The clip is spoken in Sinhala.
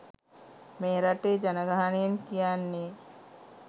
මේරටේ ජනගහනයෙන් කියන්නෙ